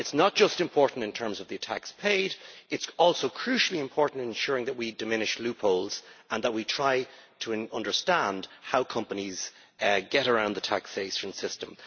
It is not just important in terms of the tax paid, it is also crucially important in ensuring that we diminish loopholes and that we try to understand how companies get around the taxation system.